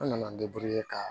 An nana ka